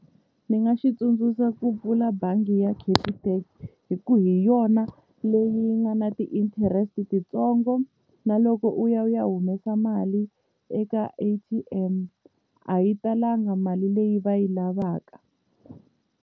Ni nga xi tsundzuxa ku pfula bangi ya Capitec hi ku hi yona leyi nga na ti-interest titsongo na loko u ya u ya humesa mali eka A_T_M a yi talanga mali leyi va yi lavaka.